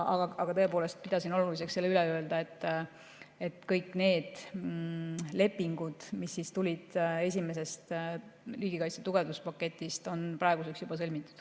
Aga tõepoolest, pidasin oluliseks selle üle öelda, et kõik need lepingud, mis tulid esimesest riigikaitse tugevdamise paketist, on praeguseks juba sõlmitud.